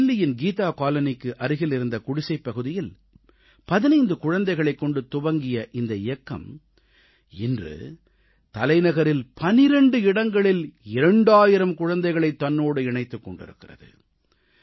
தில்லியின் கீதா காலனிக்கு அருகில் இருந்த குடிசைப்பகுதியில் 15 குழந்தைகளைக் கொண்டு தொடங்கிய இந்த இயக்கம் இன்று தலைநகரில் 12 இடங்களில் 2000 குழந்தைகளைத் தன்னோடு இணைத்துக் கொண்டிருக்கிறது